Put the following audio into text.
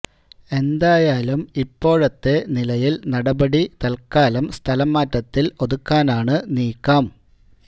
എന്തായാലും ഇപ്പോഴത്തെ നിലയിൽ നടപടി തൽക്കാലം സ്ഥലം മാറ്റത്തിൽ ഒതുക്കാനാണ് നീക്കം